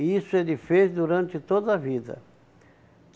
E isso ele fez durante toda a vida.